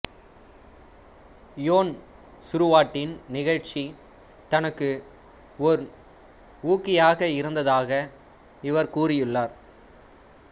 யோன் சுருவாட்டின் நிகழ்ச்சி தனக்கு ஒர் ஊக்கியாக இருந்தாக இவர் கூறியுள்ளார்